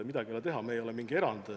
Midagi ei ole teha, me ei ole mingi erand.